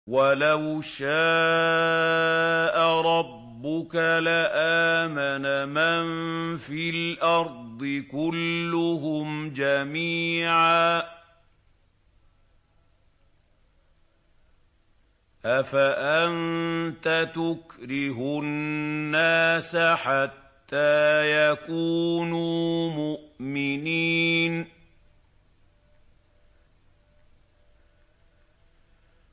وَلَوْ شَاءَ رَبُّكَ لَآمَنَ مَن فِي الْأَرْضِ كُلُّهُمْ جَمِيعًا ۚ أَفَأَنتَ تُكْرِهُ النَّاسَ حَتَّىٰ يَكُونُوا مُؤْمِنِينَ